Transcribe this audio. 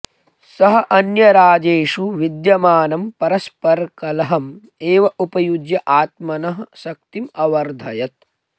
स अन्यराजेषु विद्यमानं परस्परकलहम् एव उपयुज्य आत्मनः शक्तिम् अवर्धयत